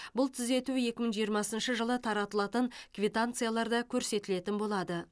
бұл түзету екі мың жиырмасыншы жылы таратылатын квитанцияларда көрсетілетін болады